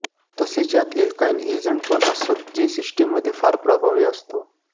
तसेच यात एल्काइन एजेंटपण असत जे सिस्टमध्ये फार प्रभावी असतो